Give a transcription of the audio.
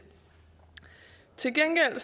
til gengæld har